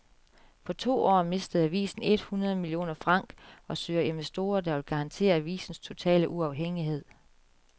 På to år mistede avisen et hundrede millioner franc og søger investorer, der vil garantere avisens totale uafhængighed.